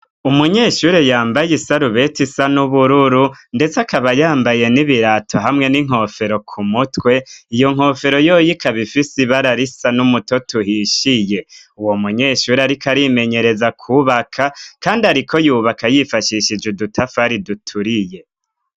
Umunyeshuri yambaye i sarubeti isa n'ubururu, ndetse akaba yambaye n'ibirato hamwe n'inkofero ku mutwe iyo nkofero yoyika bifise ibararisa n'umuto tuhishiye uwo munyeshuri, ariko arimenyereza kubaka, kandi, ariko yubaka yifashishije udutafari duturiye.